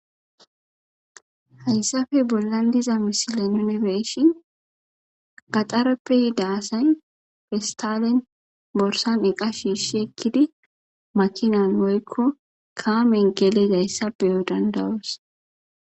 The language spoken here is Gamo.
Hayssafe bolla diza misile nunebeshin qaxareppe yi daasay festalen borsan iqa shiishi ekkidi makinan woykko kaamen gelezayssa beyo dandayos